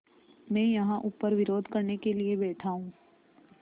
मैं यहाँ ऊपर विरोध करने के लिए बैठा हूँ